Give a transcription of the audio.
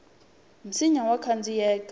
nsinya wa khandziyeka